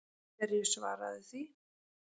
Hverju svaraðu því?